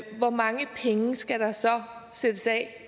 hvor mange penge skal der så sættes af